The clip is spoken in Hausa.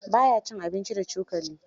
Ba ya cin abinci da cokali.